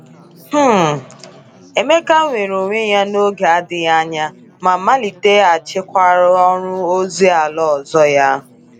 um Emeka nwere onwe ya n’oge adịghị anya ma maliteghachikwara ọrụ ozi ala ọzọ ya.